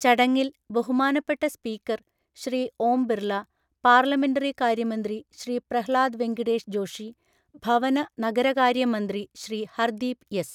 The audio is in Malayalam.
ചടങ്ങിൽ ബഹുമാനപ്പെട്ട സ്പീക്കർ ശ്രീ ഓം ബിർള, പാർലമെന്ററി കാര്യമന്ത്രി ശ്രീ പ്രഹ്ലാദ് വെങ്കിടേഷ് ജോഷി, ഭവന, നഗരകാര്യ മന്ത്രി ശ്രീ ഹർദീപ് എസ്.